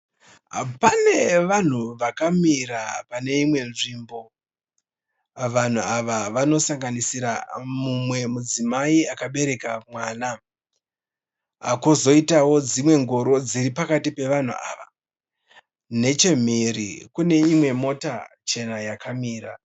Panevanhu vakamira paneinwe nzvimbo. Vanhu ava vanosanganisira mumwe mudzimai akabereka mwana , kozoita dzimwe ngoro dziri pakati pe vanhu ava. Neche mhiri , kune Imwe mota chena yakamira .